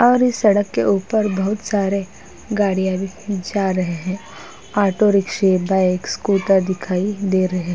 और इस सड़क के ऊपर बहोत सारे गाड़ियाँ भी जा रहे हैं। ऑटोरिक्शे बाइक स्कूटर दिखाई दे रहे --